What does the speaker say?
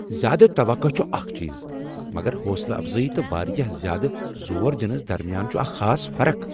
زیادٕ توقعہٕ چھ اکھ چیز، مگر حوصلہٕ افزٲیی تہٕ واریاہ زیادٕ زور دینس درمیان چھ اکھ خاص فرق۔